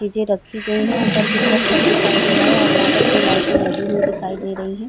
चीजे रखी गई हैं। ऊपर की तरफ छत दिखाई दे रहा है और यहाँ पर दो लाइटे लगी हुई दिखाई दे रही हैं।